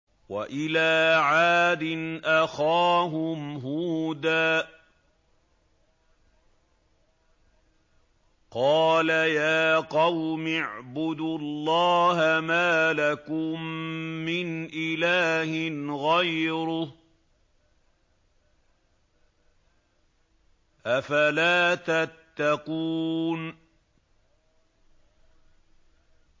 ۞ وَإِلَىٰ عَادٍ أَخَاهُمْ هُودًا ۗ قَالَ يَا قَوْمِ اعْبُدُوا اللَّهَ مَا لَكُم مِّنْ إِلَٰهٍ غَيْرُهُ ۚ أَفَلَا تَتَّقُونَ